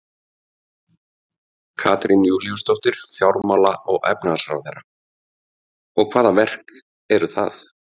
Katrín Júlíusdóttir, fjármála-og efnahagsráðherra: Og, hvaða verk eru það?